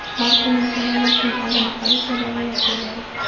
Mavsumiy shamollashning oldini olish va davolash yo‘llari.